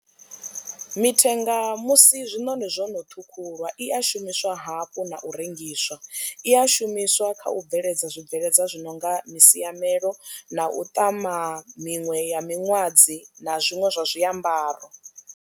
Mithenga musi zwinoni zwono ṱhukhulwa i a shumiswa hafhu na u rengiswa, i a shumiswa kha u bveledza zwibveledzwa zwi nonga masiamelo na u ṱama miṅwe ya miṅwadzi na zwiṅwe zwa zwiambaro.